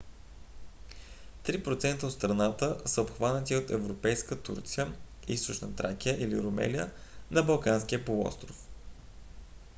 три процента от страната са обхванати от европейска турция източна тракия или румелия на балканския полуостров